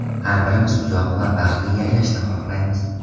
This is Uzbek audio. Har birimiz uzoq va baxtli yashashni xohlaymiz.